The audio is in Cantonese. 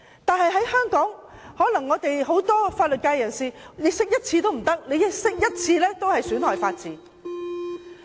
但是，香港很多法律界人士卻認為釋法一次也不行，釋法一次也是損害法治。